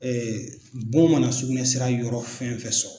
bon mana sugunɛ sira yɔrɔ fɛn fɛn sɔrɔ.